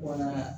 Wala